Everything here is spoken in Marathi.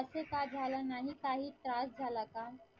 असे का झाला नाही काही त्रास झाला का?